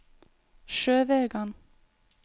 Sjøvegan